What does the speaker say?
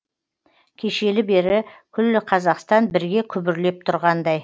кешелі бері күллі қазақстан бірге күбірлеп тұрғандай